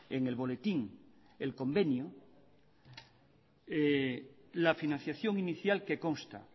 en el boletín el convenio la financiación inicial que consta